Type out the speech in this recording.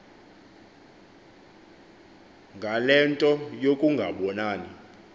ngale nto yokungabonani